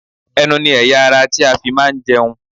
Ẹnu ni ẹ̀yà - ara tí a fi máa ń jẹun.